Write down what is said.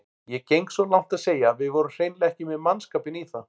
Ég geng svo langt að segja að við vorum hreinlega ekki með mannskapinn í það.